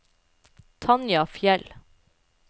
Tanja Fjeld